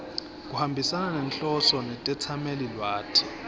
kuhambisana nenhloso netetsamelilwati